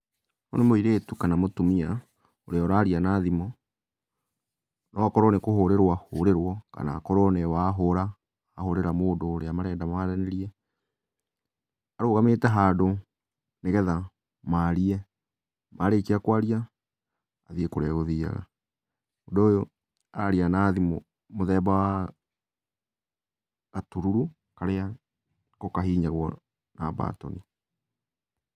Ũyũ nĩ mũirĩtu kana mũtumia ũrĩa ũraria na thimũ, no okorwo nĩ kũhũrĩrwo ahũrĩrwo kana akorwo nĩwe wahũra. Ahũrĩra mũndũ ũrĩa arenda maranĩrie. Arũgamĩte handũ nĩgetha marie, marĩkia kwaria, athiĩ kũrĩa egũthiaga. Mũndũ ũyũ araria na thimu mũthemba wa, ,gatururu karĩa kahihinyagũo ka mbatoni.